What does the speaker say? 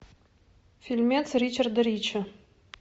фильмец ричарда рича